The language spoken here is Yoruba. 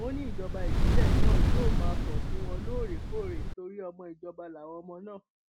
ó ní ìjọba ìbílẹ náà yóò máa kàn sí wọn lóòrèkóòrè torí ọmọ ìjọba làwọn ọmọ náà